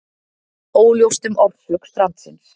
Óljóst um orsök strandsins